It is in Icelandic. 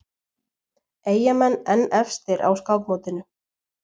Eyjamenn enn efstir á skákmótinu